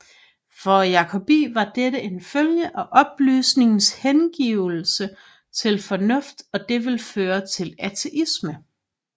For Jacobi var dette en følge af oplysningens hengivelse til fornuft og det ville føre til ateisme